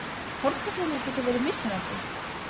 Hárkollurnar geta verið mismunandi.